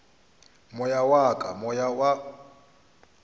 moya wa ka moya wa